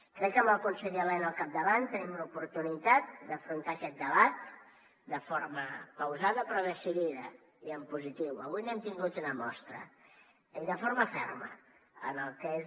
crec amb el conseller elena al capdavant tenim l’oportunitat d’afrontar aquest debat de forma pausada però decidida i en positiu avui n’hem tingut una mostra i de forma ferma en el que és